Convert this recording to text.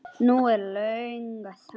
Nú er löng þögn.